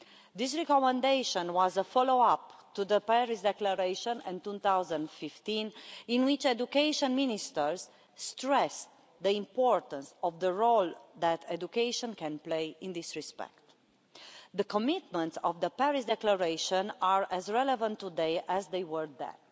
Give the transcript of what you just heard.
This recommendation was a follow up to the Paris Declaration of 2015, in which education ministers stressed the importance of the role that education can play in this respect. The commitments of the Paris Declaration are as relevant today as they were then.